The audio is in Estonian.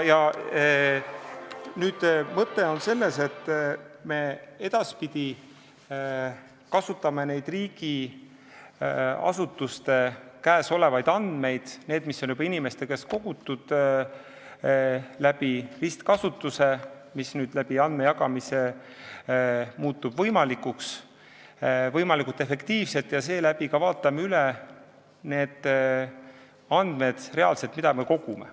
Mõte on selles, et me edaspidi kasutame neid riigiasutuste käes olevaid andmeid, mis on juba inimeste käest kogutud, ristkasutuse abil, mis andmejagamise tõttu muutub võimalikuks, võimalikult efektiivselt ja vaatame reaalselt üle ka need andmed, mida me kogume.